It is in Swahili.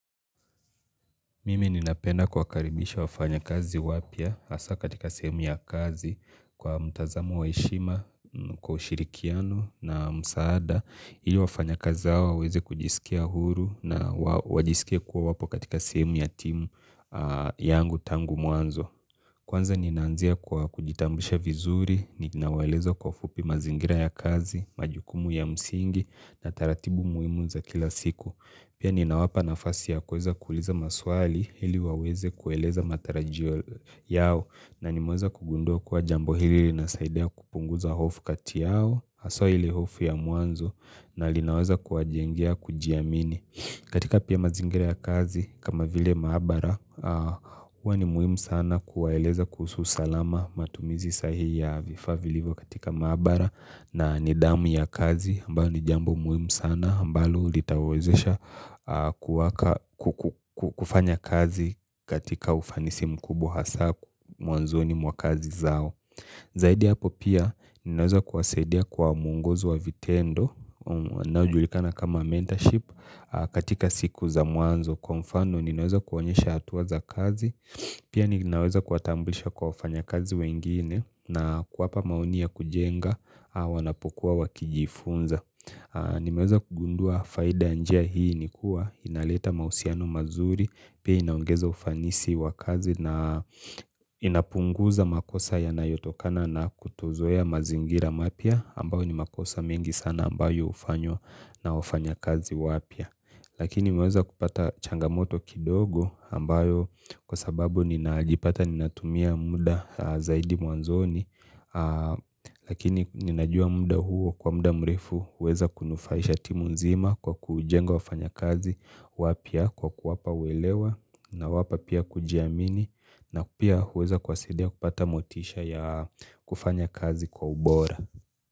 Mimi ninapenda kuwakaribisha wafanya kazi wapya, hasaa katika sehemu ya kazi, kwa mtazamo wa heshima, kwa ushirikiano na msaada. Ili wafanya kazi hao, waweze kujisikia huru na wajisikie kuwa wapo katika sehemu ya timu yangu tangu mwanzo. Kwanza ninaanzia kwa kujitambisha vizuri, ninawaeleza kwa fupi mazingira ya kazi, majukumu ya msingi na taratibu muhimu za kila siku. Pia ninawapa nafasi ya kuweza kuuliza maswali, ili waweze kueleza matarajio yao na nimeweza kugunduwa kuwa jambo hili linasaidia kupunguza hofu kati yao, haswa ile hofu ya mwanzo na linaweza kuwajengea kujiamini katika pia mazingira ya kazi, kama vile maabara, huwa ni muhimu sana kuwaeleza kuhusu salama, matumizi sahihi ya vifaa vilivyo katika maabara, na nidhamu ya kazi ambayo ni jambo muhimu sana ambalo litawawezesha, kuwaka kufanya kazi katika ufanisi mkubwa hasaa mwanzoni mwa kazi zao. Zaidi hapo pia ninaweza kuwasaidia kwa muongozo wa vitendo, unoujulikana kama mentorship, katika siku za mwanzo. Kwa mfano ninaweza kuonyesha hatuwa za kazi, pia ninaweza kuwatamblisha kwa wafanyakazi wengine, na kuwapa maoni ya kujenga au wanapokuwa wakijifunza. Nimeweza kugundua faida ya njia hii ni kuwa, inaleta mahusiano mazuri, pia inaongeza ufanisi wa kazi na inapunguza makosa yanayotokana na kutozoea mazingira mapya ambayo ni makosa mengi sanax, ambayo hufanywa na wafanya kazi wapya. Lakini nimeweza kupata changamoto kidogo ambayo kwa sababu ninajipata ninatumia muda zaidi mwanzoni Lakini ninajua muda huo kwa muda mrefu huweza kunufaisha timu nzima kwa kujenga wafanya kazi wapya, kwa kuwapa uelewa nawapa pia kujiamini na pia huweza kuwasidia kupata motisha ya kufanya kazi kwa ubora.